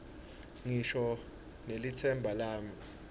ngisho nelitsemba lami